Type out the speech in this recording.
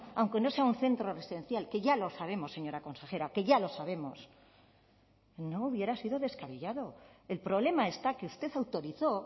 aunque no sea un centro residencial que ya lo sabemos señora consejera que ya lo sabemos no hubiera sido descabellado el problema está que usted autorizó